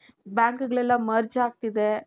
Bankಗಳೆಲ್ಲಾ merge ಆಗ್ತಿದೆ.